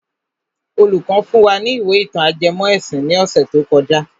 Olùkọ́ fún wa ní ìwé ìtàn ajẹmọ́ ẹ̀sìn ní ọ̀sẹ̀ tó kọjá.